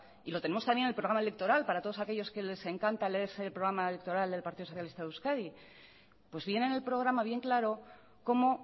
y lo tenemos también en el programa electoral para todos aquellos que les encanta leerse el programa electoral del partido socialista de euskadi pues viene en el programa bien claro cómo